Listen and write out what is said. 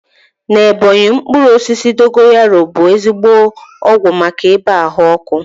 Na Ebọnyi, mkpụrụ osisi dogoyaru bụ ezigbo ọgwụ maka ibàa ahụ ọkụ